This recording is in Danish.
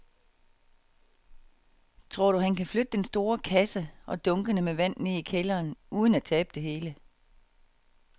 Tror du, at han kan flytte den store kasse og dunkene med vand ned i kælderen uden at tabe det hele?